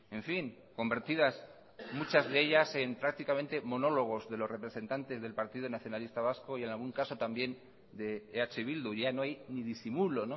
en fin convertidas muchas de ellas en prácticamente monólogos de los representantes del partido nacionalista vasco y en algún caso también de eh bildu ya no hay ni disimulo